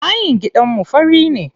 Bayin gidanmu fari ne.